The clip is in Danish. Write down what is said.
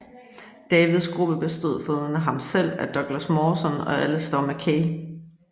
Davids gruppe bestod foruden af ham selv af Douglas Mawson og Alistair Mackay